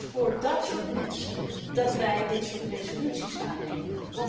Het is voor dat soort mensen dat wij dit soort resoluties aannemen.